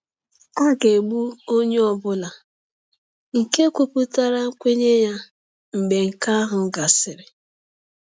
A ga-egbu onye ọ bụla nke kwupụtara nkwenye ya mgbe nke ahụ gasịrị.